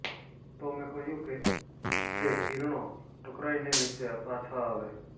તો મેં કહ્યું કે એ કિરણો ટકરાઇને નીચે પાછા આવે